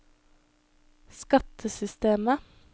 skattesystemet